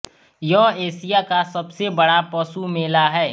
यह एशिया का सबसे बड़ा पशु मेला हैं